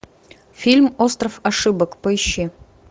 фильм остров ошибок поищи